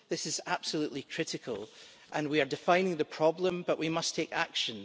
This is absolutely critical, and we are defining the problem, but we must take action.